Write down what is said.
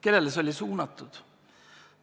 " Kellele see oli suunatud?